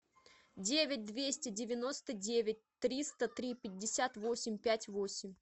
девять двести девяносто девять триста три пятьдесят восемь пять восемь